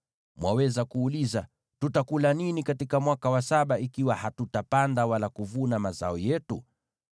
Mwaweza kuuliza, “Tutakula nini katika mwaka wa saba ikiwa hatutapanda wala kuvuna mazao yetu?”